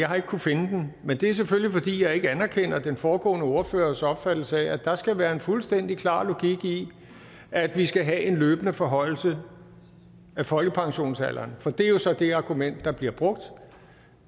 har ikke kunnet finde den men det er selvfølgelig fordi jeg ikke anerkender den foregående ordførers opfattelse af at der skal være en fuldstændig klar logik i at vi skal have en løbende forhøjelse af folkepensionsalderen for det er jo så det argument der bliver brugt